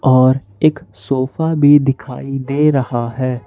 और एक सोफा भी दिखाई दे रहा है।